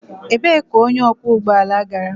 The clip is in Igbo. Ebee ka onye ọkwọ ụgbọ ala gara?